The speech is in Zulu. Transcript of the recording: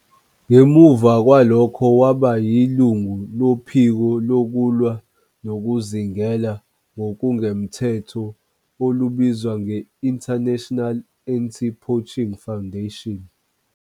Ngemuva kwalokho waba yilungu lophiko lokulwa nokuzingela ngokungemthetho olubizwa nge- International Anti-Poaching Foundation.